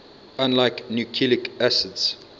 unlike nucleic acids